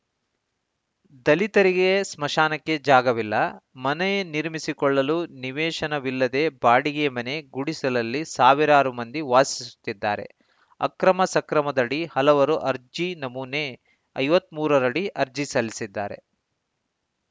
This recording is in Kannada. ದಲಿತರಿಗೆ ಸ್ಮಶಾನಕ್ಕೆ ಜಾಗವಿಲ್ಲ ಮನೆ ನಿರ್ಮಿಸಿಕೊಳ್ಳಲು ನಿವೇಶನವಿಲ್ಲದೆ ಬಾಡಿಗೆ ಮನೆ ಗುಡಿಸಲಲ್ಲಿ ಸಾವಿರಾರು ಮಂದಿ ವಾಸಿಸುತ್ತಿದ್ದಾರೆ ಅಕ್ರಮ ಸಕ್ರಮದಡಿ ಹಲವರು ಅರ್ಜಿ ನಮೂನೆ ಐವತ್ತ್ ಮೂರರಡಿ ಅರ್ಜಿ ಸಲ್ಲಿಸಿದ್ದಾರೆ